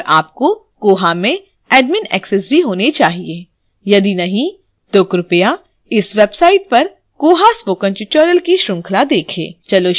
और आपको koha में admin access भी होना चाहिए यदि नहीं तो कृपया इस website पर koha spoken tutorial की श्रृंखला देखें